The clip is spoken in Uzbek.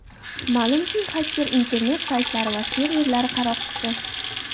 Ma’lumki, xaker – internet saytlari va serverlari qaroqchisi.